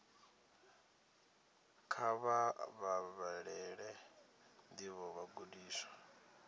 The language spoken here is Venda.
kha vha vhalele ndivho vhagudiswa